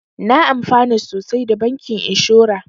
Na amfana sosai da bankin inshora